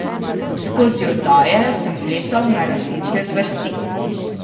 Skozi oddaje sem plesal na različne zvrsti.